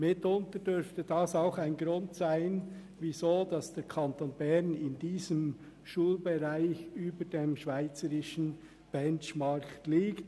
Mitunter dürfte das auch ein Grund dafür sein, dass der Kanton Bern in diesem Schulbereich über dem schweizerischen Benchmark liegt.